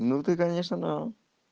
ну ты конечно да